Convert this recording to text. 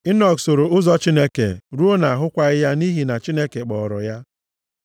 Enọk soro ụzọ Chineke ruo na a hụkwaghị ya nʼihi na Chineke kpọọrọ ya.